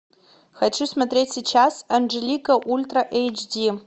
хочу смотреть сейчас анжелика ультра эйч ди